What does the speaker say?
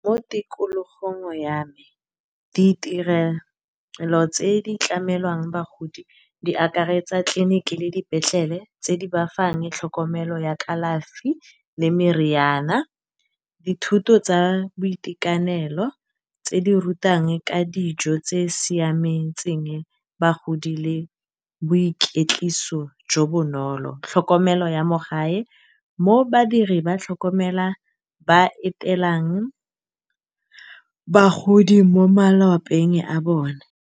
Mo tikologong ya me ditirelo tse di tlamelwang bagodi di akaretsa tlileniki le dipetlele, tse di bafang tlhokomelo ya kalafi le meriana. Dithuto tsa boitekanelo tse di rutang ka dijo tse siametseng bagodi le boikwetliso jo bonolo, tlhokomelo ya mo gae, mo badiri ba etelelang bagodi mo malapeng a bone.